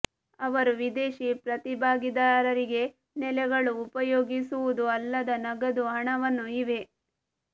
ಅವರು ವಿದೇಶಿ ಪ್ರತಿಭಾಗಿದಾರರಿಗೆ ನೆಲೆಗಳು ಉಪಯೋಗಿಸುವುದು ಅಲ್ಲದ ನಗದು ಹಣವನ್ನು ಇವೆ